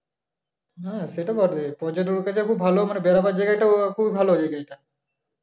হ্যা সে তো বটেই ভালো মানে বেড়াবার জায়গাটাও খুব ভালো